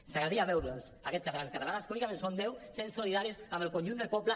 ens agradaria veure’ls aquests catalans i catalanes que únicament són deu sent solidaris amb el conjunt del poble